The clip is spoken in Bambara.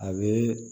A bɛ